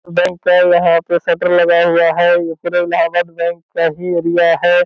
Bank है यहाँ पे शटर लगा हुआ है ये पूरे इलाहाबाद बैंक का ही एरिया है।